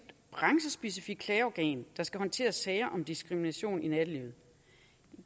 branchespecifikt klageorgan der skal håndtere sager om diskrimination i nattelivet